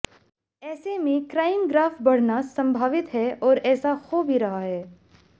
ऐसे में crime graph बढऩा संभावित है और ऐसा हो भी रहा है